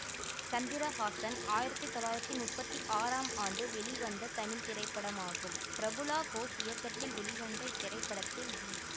சந்திரஹாசன் ஆயிரத்தி தொள்ளாயிரத்தி முப்பத்தி ஆறாம் ஆண்டு வெளிவந்த தமிழ் திரைப்படமாகும் பிரபுளா கோஷ் இயக்கத்தில் வெளிவந்த இத்திரைப்படத்தில் வி